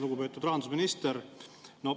Lugupeetud rahandusminister!